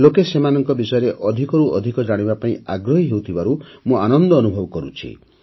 ଲୋକେ ସେମାନଙ୍କ ବିଷୟରେ ଅଧିକରୁ ଅଧିକ ଜାଣିବା ପାଇଁ ଆଗ୍ରହୀ ହେଉଥିବାରୁ ମୁଁ ଆନନ୍ଦ ଅନୁଭବ କରୁଛି